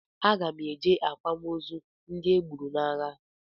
Aga m eje akwamozu ndị e gburu n'agha